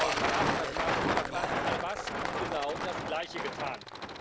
2008 hat Mahmud Abbas genau das Gleiche getan.